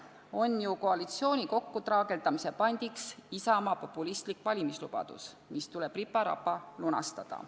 On ju koalitsiooni kokkutraageldamise pandiks Isamaa populistlik valimislubadus, mis tuleb ripa-rapa lunastada.